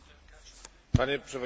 Panie przewodniczący!